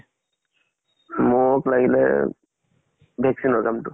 মোক লাগিলে vaccine ৰ কামতো